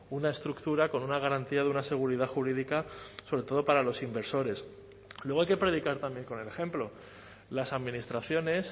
una estructura con una garantía de una seguridad jurídica sobre todo para los inversores luego hay que predicar también con el ejemplo las administraciones